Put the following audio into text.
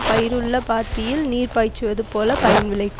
பயிர் உள்ள பாத்தியில் நீர் பாய்ச்சுவது போல பயன் விளைக்கு